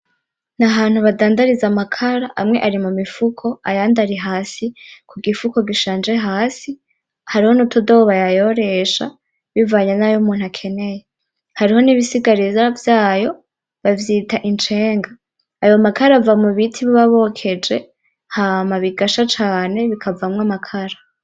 N'ahantu bandadariza amakara amwe ari mu mifuko ayandi ari hasi kugifuko gishaje hasi hari nutudobo bayayoresha bivanye nayo umuntu akeneye, hari nibisigarira vyayo bavyita incenga, ayo makara ava mubiti baba bokeje hama bigasha cane bikavamwo amakara.